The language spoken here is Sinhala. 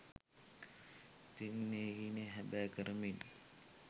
ඉතින් ඒ හීනය හැබෑ කරමින්